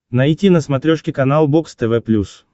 найти на смотрешке канал бокс тв плюс